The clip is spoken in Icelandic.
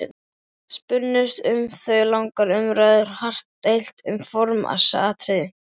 Spunnust um þau langar umræður og hart deilt um formsatriði.